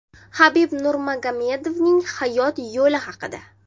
Habib Nurmagomedovning hayot yo‘li haqida.